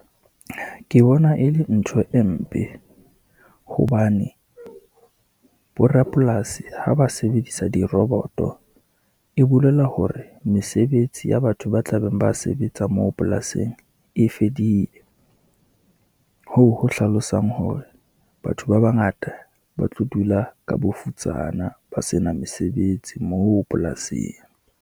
Ke bona e le ntho e mpe, hobane borapolasi ha ba sebedisa diroboto, e bolela hore mesebetsi ya batho ba tla beng ba se betsa moo polasing e fedile. Hoo ho hlalosang hore batho ba bangata, ba tlo dula ka bofutsana ba sena mesebetsi moo polasing.